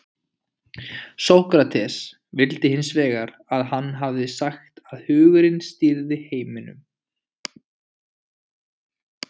sókrates vildi hins vegar að hann hefði sagt að hugurinn stýrði heiminum